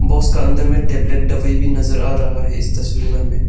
Box का अंदर में टेबलेट दवाई भी नजर आ रहा है इस तस्वीर में हमे।